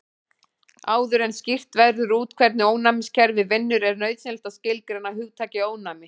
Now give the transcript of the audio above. Áður en skýrt verður út hvernig ónæmiskerfið vinnur er nauðsynlegt að skilgreina hugtakið ónæmi.